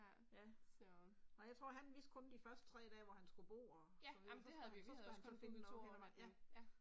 Ja. Ej jeg tror han vidste kun de første 3 dage hvor han skulle bo og så videre så skulle, så skulle han til at finde noget